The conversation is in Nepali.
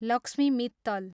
लक्ष्मी मित्तल